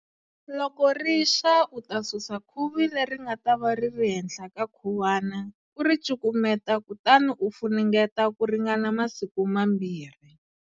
Loko ri xa u ta susa khuvi leri nga ta va ri ri henhla ka khuwana u ri cukumeta kutani u funengeta ku ringana masiku mambirhi.